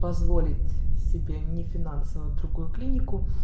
позволить себе нефинансовая другую клинику